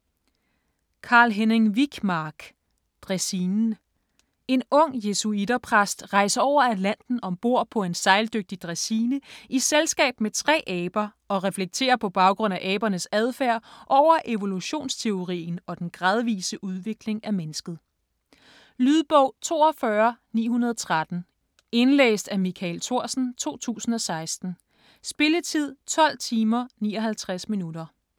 Wijkmark, Carl-Henning: Dræsinen En ung jesuitter-præst rejser over Atlanten ombord på en sejldygtig dræsine i selskab med tre aber, og reflekterer på baggrund af abernes adfærd over evolutionsteorien og den gradvise udvikling af mennesket. Lydbog 42913 Indlæst af Michael Thorsen, 2016. Spilletid: 12 timer, 59 minutter.